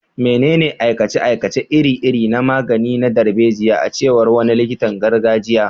Menene aikace-aikace iri-iri na magani na darbejiya, a cewar wani likitan gargajiya?